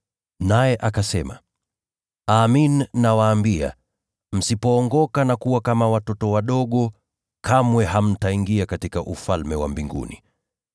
Naye akasema: “Amin, nawaambia, msipookoka na kuwa kama watoto wadogo, kamwe hamtaingia katika Ufalme wa Mbinguni.